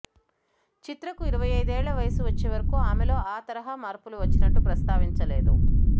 చిత్రకు ఇరవై అయిదేళ్ల వయసు వచ్చేవరకూ ఆమెలో ఆ తరహా మార్పులు వచ్చినట్టు ప్రస్తావించలేదు